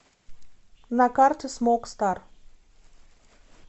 на карте смок стар